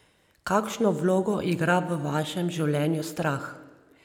Kakšno vlogo igra v vašem življenju strah?